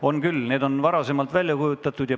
On küll, need on varasemalt välja kuulutatud.